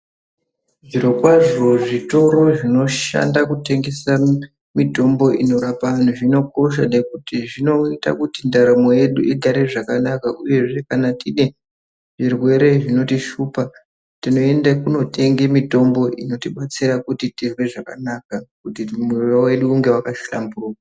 Zvirokwazvo zvitori zvinoshanda kutengesa mitombo inorapa antu zvinokosha ngekuti zvinoita kuti ndaramo yedu igare zvakanaka. Uyezve kana tinezvirwere zvinotishupa tinoende kotenga mitombo inotibatsira kuti tizwe zvakanaka kuti mwiri wedu unge waka hlamburuka.